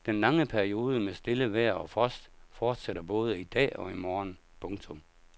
Den lange periode med stille vejr og frost fortsætter både i dag og i morgen. punktum